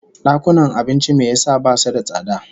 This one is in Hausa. Dakunan abincin me yasa basu da tsada?